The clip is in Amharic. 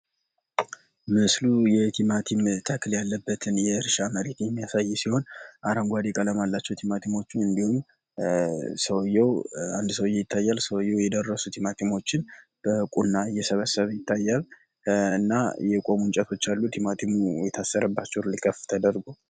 ምስሉ የቲማቲም ተክል ያለበትን የእርሻ መሬት የሚያሳይ ሲሆን፤ አረንጓዴ ቀለም አላቸው ቲማቲሞቹ። እንዲሁም አንድ ሰውዬ ይታያል ሰውዬው የደረሱትን ቲማቲሞቹን በቁና እየሰበሰበ ይታያል እና የቆሙ እንጨቶች አሉ ቲማቲሙ የታሰረባቸው ከፍ ተደርጎ።